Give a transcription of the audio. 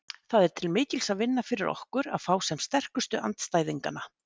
Það er til mikils að vinna fyrir okkur að fá sem sterkustu andstæðinganna.